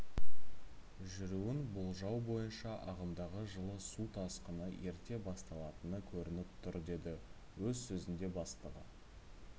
жүруін болжау бойынша ағымдағы жылы су тасқыны ерте басталатыны көрініп тұр деді өз сөзінде бастығы